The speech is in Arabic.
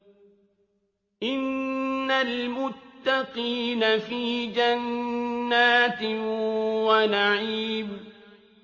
إِنَّ الْمُتَّقِينَ فِي جَنَّاتٍ وَنَعِيمٍ